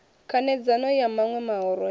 khanedzano ya maṋwe mahoro hei